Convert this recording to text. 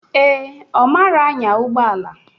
Ee, Ọ marọ anya ụgbọala.